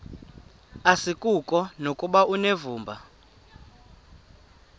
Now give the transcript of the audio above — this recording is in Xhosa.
asikuko nokuba unevumba